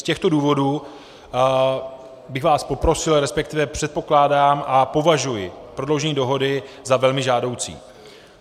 Z těchto důvodů bych vás poprosil, respektive předpokládám a považuji prodloužení dohody za velmi žádoucí.